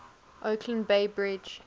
oakland bay bridge